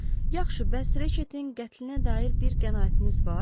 Yaxşı, bəs Reçetin qətlinə dair bir qənaətiniz var?